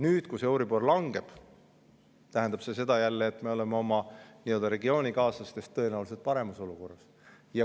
Nüüd, kui euribor langeb, tähendab see seda, et me oleme oma regioonikaaslastest tõenäoliselt paremas olukorras.